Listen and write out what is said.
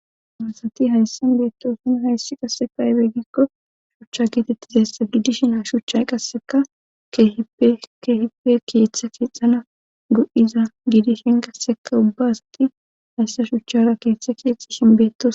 dorasati hayssan beettosino hayssi qasseka ybey gikko shucha kiitettizayssa giidishin a shuchchay qasseka keehipe kiiththa kiixana gu7iza giidishin qasseka ubba asati hayssa shuchchara kiiththe kiixishin beettos